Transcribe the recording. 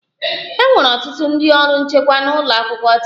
E nwere ọtụtụ ndị ọrụ nchekwa n'ụlọ akwụkwọ taa